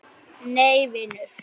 Nei vinur.